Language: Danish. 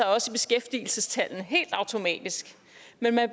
også i beskæftigelsestallene helt automatisk men